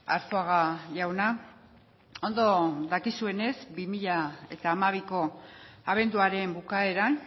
arzuaga jauna ondo dakizuenez bi mila hamabiko abenduaren bukaeran